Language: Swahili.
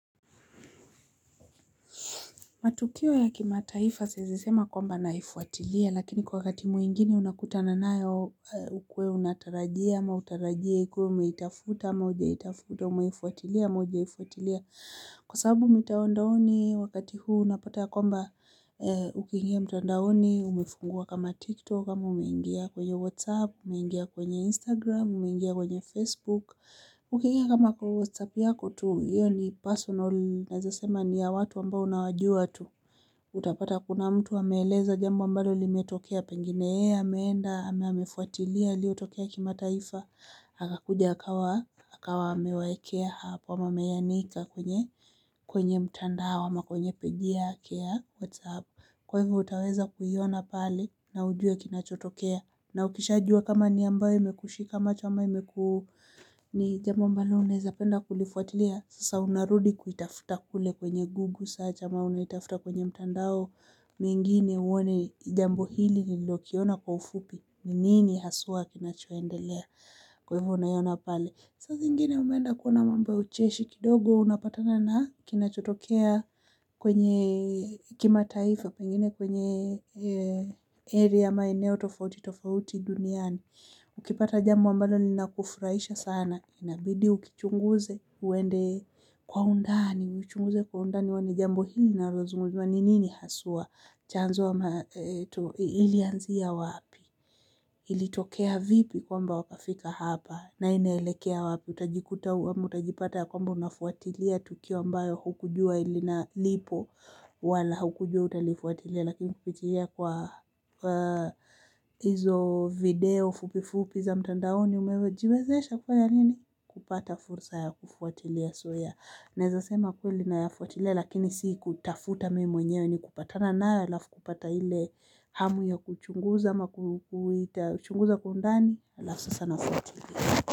Matukio ya kimataifa zilisema kwamba naifuatilia lakini kwa wakati mwengine unakutana nayo ukuwe unatarajia ama hutarajii ikuwe umeitafuta ama hujaitafuta ama umeifuatilia ama hujaifuatilia. Kwa sababu mitandaoni wakati huu unapata ya kwamba ukingia mtandaoni, umefungua kama tiktok ama, umeingia kwenye whatsapp, umeingia kwenye instagram, umeingia kwenye facebook. Ukiingia kama kwa WhatsApp yako tu iyo ni personal. Nawezasema ni ya watu ambao unawajua tu. Utapata kuna mtu ameeleza jambo ambalo limetokea. Pengine yeye, ameenda, ama amefuatilia yaliotokea kimataifa anakuja akawa akawa amewaekea hapo ama ameyanika kwenye kwenye mtandao ama kwenye peji yake ya WhatsApp. Kwa hivyo utaweza kuiona pale na ujue kinachotokea na ukishajua kama ni ambayo imekushika macho, ama imekua ni jambu ambalo, unaezapenda kulifuatilia, sasa unarudi kuitafuta kule kwenye google, search ama unaitafuta kwenye mtandao nyingine huwa ni jambo hili nililoliona kwa kiufuoi ni nini haswa kinachoendelea kwa hivo unavoona pale saa zingine umeenda kuona mambo ya ucheshi kidogo unapatana na mambo kinachotokea kwenye kimataifa, pengine kwenye area maeneo tofauti, tofauti duniani. Ukipata jambo ambalo linakufurahisha sana. Inabidi ulichunguze uende kwa undani. Uchunguze kwa undani kwani jambo hili linalozungumziwa nini haswa. Chanzo ilianzia wapi. Ilitokea vipi kwamba wakafika hapa. Na inaelekea wapi utajikuta ama utajipata ya kwamba unafuatilia tukio ambalo hukujua linalipo wala hukujua utalifuatilia. Lakini kupitia kwa hizo video fupifupi za mtandaoni umewezezesha kufanya nini. Kupata fursa ya kufuatilia soya. Naweza sema kweli nayafuatilia lakini sii kutafuta mimi mwenyewe ni kupatana nayo alafu kupata ile hamu ya kuchunguza ama kuchunguza kiundani alafu sasa nafuatilia.